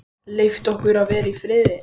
Leyft okkur að vera í friði?